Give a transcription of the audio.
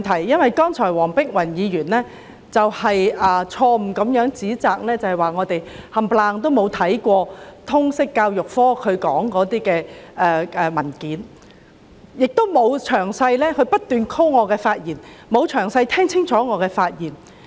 主席，剛才黃碧雲議員錯誤地指摘建制派議員全都沒看通識教育科的相關報告，她又不斷引述我的言論，但卻沒有聽清楚我先前的發言。